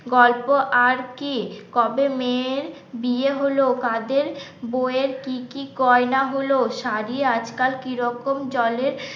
গল্প আর কি, কবে মেয়ের বিয়ে হলো কাদের, বউয়ের কি কি গয়না হল? শাড়ি আজকাল কিরকম জলে,